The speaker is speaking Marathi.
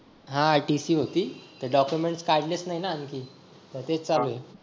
हां TC होती ते documents काढलेच नाही ना आणखी.